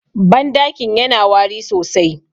bandakin yana wari sosai